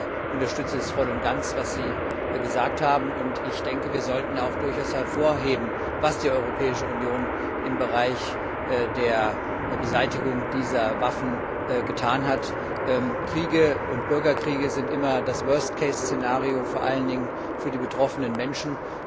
Ich unterstütze es voll und ganz, was Sie gesagt haben, und ich denke, wir sollten auch durchaus hervorheben, was die Europäische Union im Bereich der Beseitigung dieser Waffen getan hat. Kriege und Bürgerkriege sind immer das worst case Szenario, vor allen Dingen für die betroffenen Menschen.